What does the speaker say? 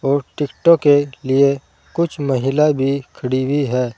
और टिकटो के लिए कुछ महिला भी खड़ी हुई है।